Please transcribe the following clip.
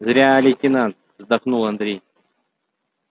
зря лейтенант вздохнул андрей